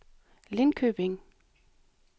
Linköping